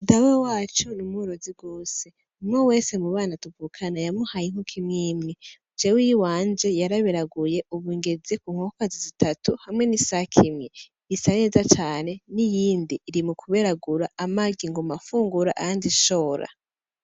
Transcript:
Dawe wacu n'umworozi gose umwe wese mu bana tuvukana y'amuhaye inkoko imwimwe jewe iyi wanje yaraberaguye ubu ngeze ku nkokokazi zitatu hamwe n'isake imwe isa neza cane n'iyindi iri mu kuberagura amagi nguma nfungura ayandi shora.